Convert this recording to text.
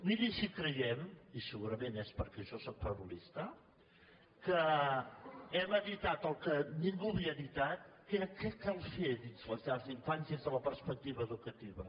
miri si hi creiem i segurament és perquè jo sóc parvulista que hem editat el que ningú havia editat que era què cal fer dins les llars d’infants des de la perspectiva educativa